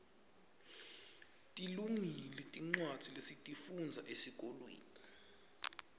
tilungile tincwadza lesitifundza esikolweni